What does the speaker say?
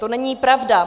To není pravda.